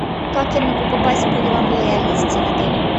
как я могу попасть в программу лояльности в отеле